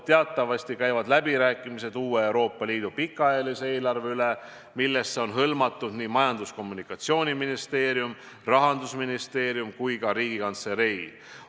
Teatavasti käivad läbirääkimised Euroopa Liidu uue pikaajalise eelarve üle, millesse on kaasatud nii Majandus- ja Kommunikatsiooniministeerium, Rahandusministeerium kui ka Riigikantselei.